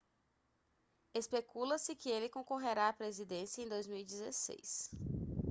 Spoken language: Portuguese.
especula-se que ele concorrerá à presidência em 2016